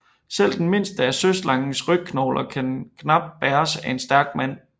Selv den mindste af søslangens rygknogler kunne knapt bæres af en stærk mand